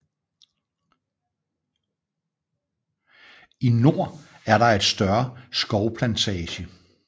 I nord er der et større skovplantage